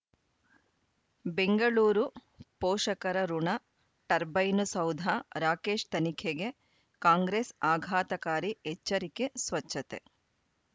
ಬೆಂಗಳೂರು ಪೋಷಕರಋಣ ಟರ್ಬೈನು ಸೌಧ ರಾಕೇಶ್ ತನಿಖೆಗೆ ಕಾಂಗ್ರೆಸ್ ಆಘಾತಕಾರಿ ಎಚ್ಚರಿಕೆ ಸ್ವಚ್ಛತೆ